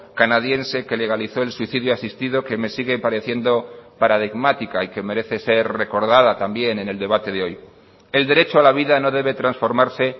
canadiense que legalizó el suicidio asistido que me sigue pareciendo paradigmática y que merece ser recordada también en el debate de hoy el derecho a la vida no debe transformarse